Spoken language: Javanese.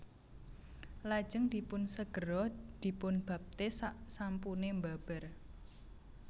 Lajeng dipunsegera dipunbaptis saksampune mbabar